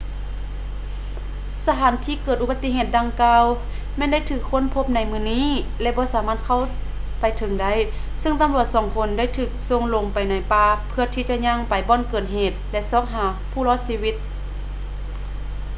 ສະຖານທີ່ເກີດອຸປະຕິເຫດດັ່ງກ່າວ ແມ່ນໄດ້ຖືກຄົ້ນພົບໃນມື້ນີ້ ແລະ ບໍ່ສາມາດເຂົ້າໄປເຖິງໄດ້ ຊຶ່ງຕຳຫຼວດສອງຄົນໄດ້ຖືກສົ່ງລົງໄປໃນປ່າເພື່ອທີ່ຈະຍ່າງໄປບ່ອນເກີດເຫດ ແລະ ຊອກຫາຜູ້ລອດຊີວິດ